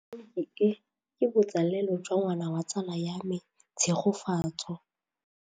Tleliniki e, ke botsalêlô jwa ngwana wa tsala ya me Tshegofatso.